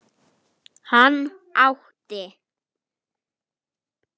Hann átti